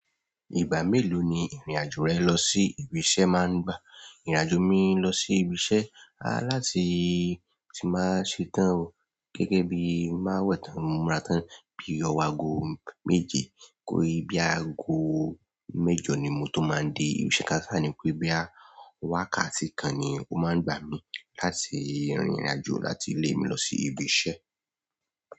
Ìgbà méèló ni ìrìn-àjò rẹ lọ sí ibi iṣẹ́ máa ń gbà. Ìrìn-àjò mi lọ sí ibi iṣẹ́ a láti tí máa ń ṣe tán gẹ́gẹ́ bí má wẹ̀ tán, múra tán bí i ọwọ́ aago méje. Kórí bí i aago mẹ́jọ ni mo tó máa ń dé ibi iṣẹ́ ká. Kání pé bóyá wákàtí kan ni ó máa ń gbà mí láti rìrìn-àjò láti ilé mi lọ sí ibi iṣẹ́.